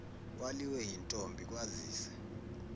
waliwe yintombi kwazise